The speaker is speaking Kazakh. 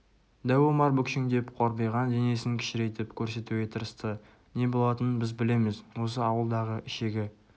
дәу омар бүкшеңдеп қорбиған денесін кішірейтіп көрсетуге тырысты не болатынын біз білеміз осы ауылдағы ішегі